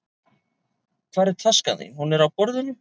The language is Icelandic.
Hvar er taskan þín? Hún er á borðinu.